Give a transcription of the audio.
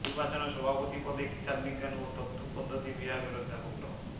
নির্বাচনে সভাপতি পদে হিসাববিজ্ঞান ও তথ্য পদ্ধতি বিভাগের অধ্যাপক ড